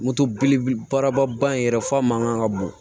Moto belebeleba in yɛrɛ fa man kan ka bon